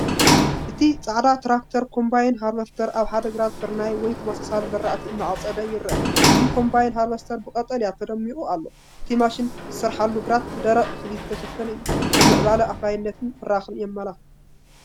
እቲ ዓፀዲ ትራክተር ኮምባይን ሃርቨስተር ኣብ ሓደ ግራት ስርናይ ወይ ተመሳሳሊ ዝራእቲ እናዓጸደ ይርአ። እቲ ኮምባይን ሃርቨስተር ብቀጠልያ ተደሚቑ ኣሎ። እቲ ማሽን ዝሰርሓሉ ግራት ብደረቕ እኽሊ ዝተሸፈነ እዩ። ናይ ምዕባለን ኣፍራይነትን ብራኸ የመላኽት።